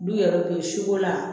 Du yɛrɛ bɛ si ko la